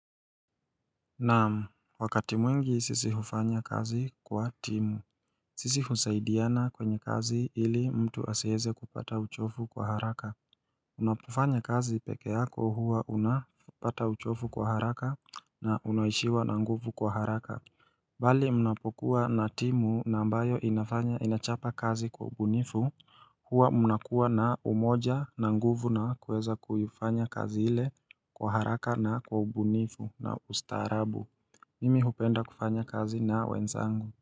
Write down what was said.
Naam, wakati mwingi sisi hufanya kazi kwa timu sisi husaidiana kwenye kazi ili mtu asieze kupata uchofu kwa haraka Unapofanya kazi peke yako huwa unapata uchofu kwa haraka na unaishiwa na nguvu kwa haraka Bali mnapokuwa na timu na ambayo inachapa kazi kwa ubunifu Huwa mnakuwa na umoja na nguvu na kuweza kuifanya kazi ile kwa haraka na kwa ubunifu na ustaarabu Mimi hupenda kufanya kazi na wenzangu.